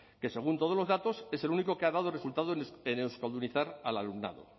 que según todos los datos es el único que ha dado resultado en euskaldunizar al alumnado